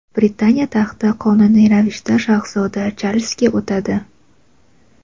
Britaniya taxti qonuniy ravishda shahzoda Charlzga o‘tadi.